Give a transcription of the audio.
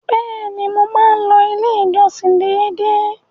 Bẹ́ẹ̀ni, mo máa ń lọ ilé ìjọsìn dédé.